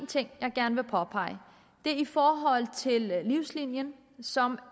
ting jeg gerne vil påpege det er i forhold til livslinien som